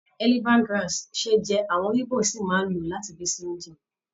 Elephant grass ṣe é jẹ, àwọn Igbo sì máa ń lò ó láti fi se oúnjẹ.